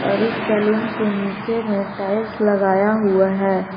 और इस सैलून के नीचे में टाइल्स लगाया हुआ है।